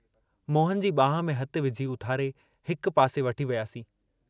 मोहन जी बांह में हथु विझी उथारे हिक पासे वठी वियासीं।